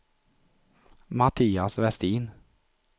Mattias Westin